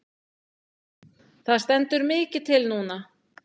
Það stendur mikið til núna.